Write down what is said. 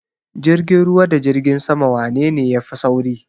Jirgin ruwa da jirgin sama wanene ya fi sauri?